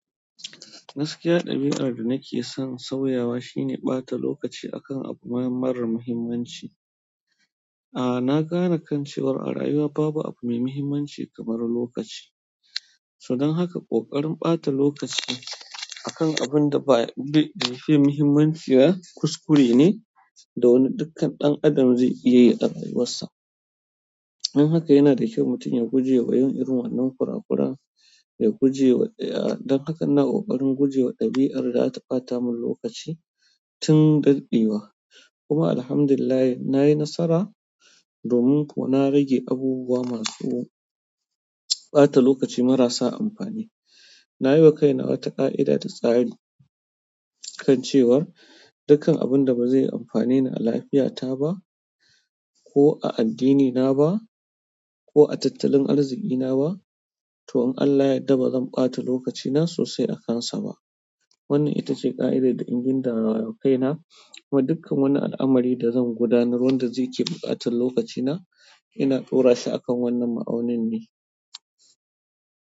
Gaskiya, ɗabi'ar da nake son sauyawa shine, ɓata lokaci a kan abu mara muhimmanci. Aa, na gane kan cewar a rayuwa babu abu mai muhimmanci kamar lokaci. Sannan haka, ƙoƙarin ɓata lokaci a kan abun da baya da bai fiye muhimmanci ba kuskure ni, da wani dukkan ɗan adam zai iya yi a rayuwarsa. Don haka yana da kyau mutum ya guje wa yin irin wannan kurakuran, ya guje wa-- aa, don haka na ƙoƙarin guje wa ɗabi'ar da zata ɓata mun lokaci tun daɗewa. Kuma alhamdulillah, na yi nasara, domin kuwa na rage abubuwa masu ɓata lokaci marasa amfani. Na yi wa kaina wata ƙa'ida da tsari kan cewar dukkan abun da ba zai amfane ni a lafiyata ba, ko a addinina ba, ko a tattalin arzikina ba, to in Allah yadda ba zan ɓata lokacina sosai a kansa ba. Wannan ita ce ƙa'idar da in gindaya wa kaina, kuma dukkan wani al'amari da zan gudanarwa wanda zaici buƙatan lokacina, ina ƙaura shi akan wannan ma'aunin ne.